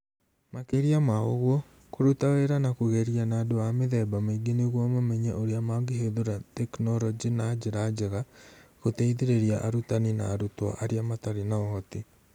Makĩria ma ũguo, kũruta wĩra na kũgeria na andũ a mĩthemba mĩingĩ nĩguo mamenye ũrĩa mangĩhũthĩra tekinolonjĩ na njĩra njega gũteithĩrĩria arutani na arutwo arĩa matarĩ na ũhoti.